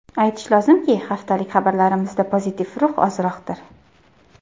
Aytish lozimki, haftalik xabarlarimizda pozitiv ruh ozroqdir.